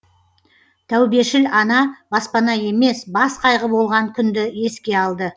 тәубешіл ана баспана емес бас қайғы болған күнді еске алды